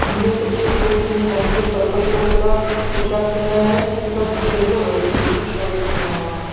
इनमें से एक व्यक्ति ने हल्के पर्पल कलर का पोशाक पहना है तथा दूसरे में वाइट कलर का शर्ट पहना हुआ है।